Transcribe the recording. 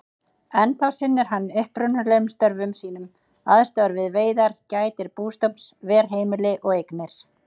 Ennþá sinnir hann upprunalegum störfum sínum, aðstoðar við veiðar, gætir bústofns, ver heimili og eignir.